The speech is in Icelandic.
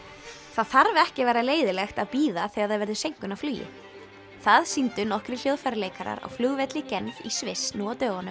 það þarf ekki að vera leiðinlegt að bíða þegar það verður seinkun á flugi það sýndu nokkrir hljóðfæraleikarar á flugvelli Genf í Sviss nú á dögunum